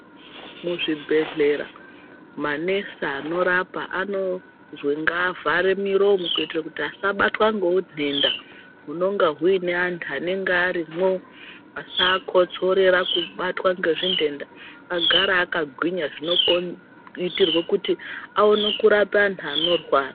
Muzvibhedhlera manesi anorapa anozwi ngaavhare miromo, kuito kuti asabatwa neutenda hunonga hune antu anenga arimwo, asaakotsorera kubatwa ngezvitenda, agare akagwinyaa zvinoitirwo kuti aone kurapa anhu anorwara.